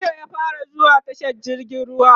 jiya ya fara zuwa tashar jirgin ruwa